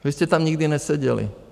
Vy jste tam nikdy neseděli.